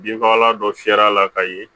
Binfagalan dɔ fiyɛ a la ka ye